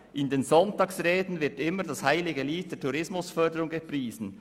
: «In den Sonntagsreden wird immer das heilige Lied der Tourismusförderung gepriesen.